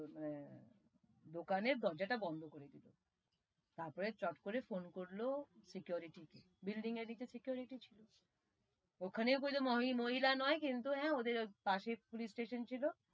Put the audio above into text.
এর দোকানের দরজা তা বন্দ করে দিলো তার পরে চট করে ফোন করলো security কে, building এ দিকে security ছিল ওখানেও মহিলা নয়, কিন্তু হা ওদের পশে পুলিশ স্টেশন ছিল,